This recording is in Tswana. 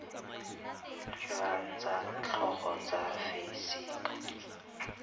jwa tsa tlhago tsa fisika